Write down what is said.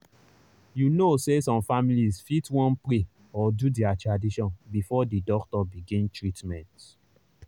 you know say some families fit wan pray or do their tradition before the doctor begin treatment.